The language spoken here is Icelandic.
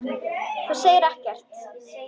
En þú segir ekkert.